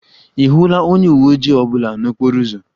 Ị hụla onye uwe ojii ọ bụla n'okporo ụzọ?